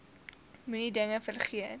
moenie dinge vergeet